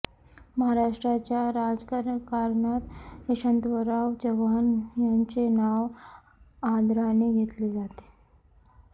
महाराष्ट्राच्या राजकारणात यशवंतराव चव्हाण यांचे नाव आदराने घेतले जाते